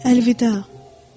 Əlvida,